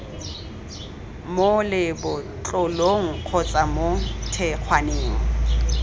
mo lebotlolong kgotsa mo thekgwaneng